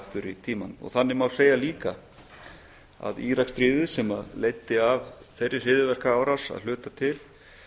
í tímann og þannig má segja líka að íraksstríðið sem leiddi af þeirri hryðjuverkaárás að hluta til